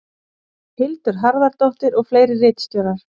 Hildur Harðardóttir og fleiri ritstjórar.